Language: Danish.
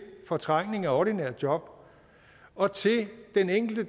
fortrængning af ordinære job og til den enkelte